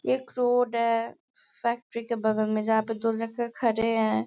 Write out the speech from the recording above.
एक रोड है फैक्ट्री के बगल में जहाँ पे दो लडके खड़े हैं।